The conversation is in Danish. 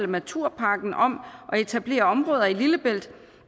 naturparken om at etablere områder i lillebælt